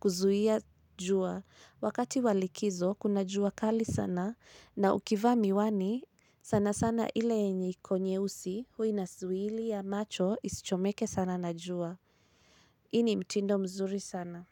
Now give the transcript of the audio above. kuzuia jua. Wakati wa likizo, kuna jua kali sana na ukivaa miwani, sana sana ile yenye iko nyeusi huwa inazuilia macho isichomeke sana na jua. Hii ni mtindo mzuri sana.